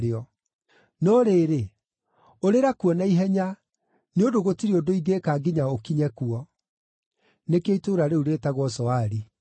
No rĩrĩ, ũrĩra kuo na ihenya, nĩ ũndũ gũtirĩ ũndũ ingĩĩka nginya ũkinye kuo.” (Nĩkĩo itũũra rĩu rĩĩtagwo Zoari.)